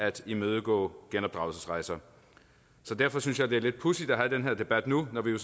at imødegå genopdragelsesrejser derfor synes jeg det er lidt pudsigt at have den her debat nu når vi